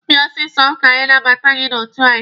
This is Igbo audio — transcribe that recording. Bịa ọsịsọ ka anyị nabata gị n'otu anyị!